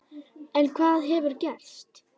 En hvað hefur gerst?